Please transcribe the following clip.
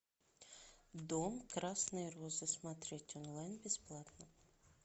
дом красные розы смотреть онлайн бесплатно